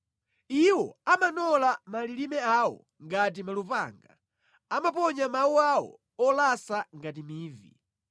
Iwo amanola malilime awo ngati malupanga, amaponya mawu awo olasa ngati mivi.